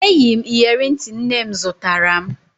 Eyi m iyeri ntị nne m zụtara m